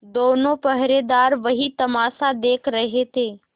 दोनों पहरेदार वही तमाशा देख रहे थे